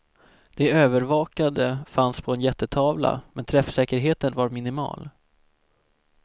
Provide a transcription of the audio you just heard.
De övervakade fanns på en jättetavla men träffsäkerheten var minimal.